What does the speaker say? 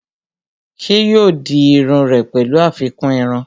Ṣé yóò di iru rẹ̀ pẹ̀lú àfikún irun?